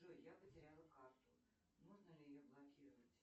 джой я потеряла карту нужно ли ее блокировать